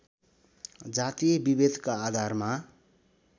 जातीय विभेदका आधारमा